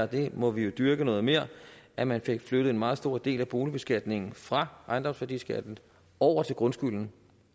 det må vi jo dyrke noget mere at man fik flyttet en meget stor del af boligbeskatningen fra ejendomsværdiskatten over til grundskylden